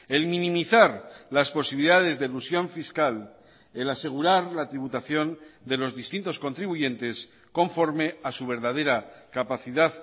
el minimizar las posibilidades de elusión fiscal el asegurar la tributación de los distintos contribuyentes conforme a su verdadera capacidad